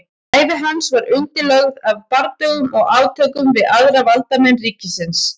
ævi hans var undirlögð af bardögum og átökum við aðra valdamenn ríkisins